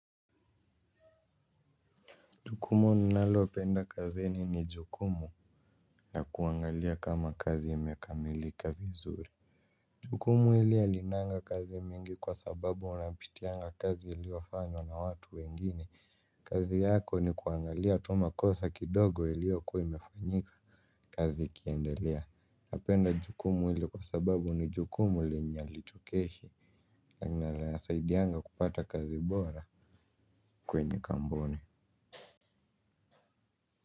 Jukumu ninalopenda kazini ni jukumu ya kuangalia kama kazi imekamilika vizuri. Jukumu ili halinanga kazi mingi kwa sababu unapitianga kazi iliyofanywa na watu wengine. Kazi yako ni kuangalia tu makosa kidogo iliyokuwa imefanyika. Kazi ikiendelea napenda jukumu hili kwa sababu ni jukumu lenye halichokeshi. Na linasaidianga kupata kazi bora. Kwenye kampuni.